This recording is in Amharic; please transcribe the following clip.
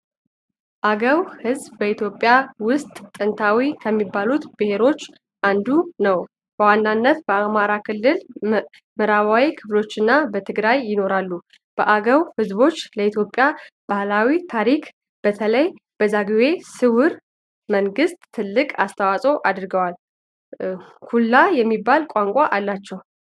አገው ሕዝብ በኢትዮጵያ ውስጥ ጥንታዊ ከሚባሉት ብሔረሰቦች አንዱ ነው። በዋናነት በአማራ ክልል ምዕራባዊ ክፍሎችና በትግራይ ይኖራሉ። የአገው ሕዝብ ለኢትዮጵያ ባህልና ታሪክ (በተለይ ለዛግዌ ሥርወ መንግሥት) ትልቅ አስተዋፅዖ አድርጓል። ኩንላ የሚባል ቋንቋ አላቸው።